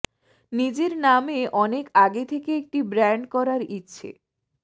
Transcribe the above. নিজের নামে অনেক আগে থেকে একটি ব্র্যান্ড করার ইচ্ছে